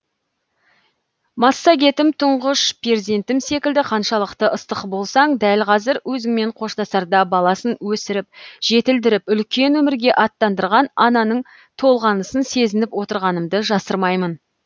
массагетім тұңғыш перзентім секілді қаншалықты ыстық болсаң дәл қазір өзіңмен қоштасарда баласын өсіріп жетілдіріп үлкен өмірге аттандырған ананың толғанысын сезініп отырғанымды жасырмайын